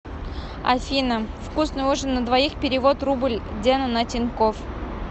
афина вкусный ужин на двоих перевод рубль дену на тинькофф